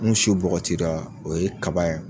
Ni su bɔgɔtira o ye kaba ye.